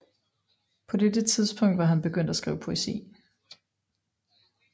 På dette tidspunkt var han begyndt at skrive poesi